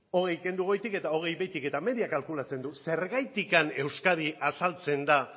hogei kendu goitik eta hogei behetik eta media kalkulatzen du zergatik euskadi azaltzen da